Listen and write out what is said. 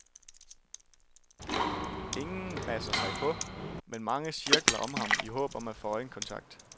Ingen maser sig på, men mange cirkler om ham i håb om at få øjenkontakt.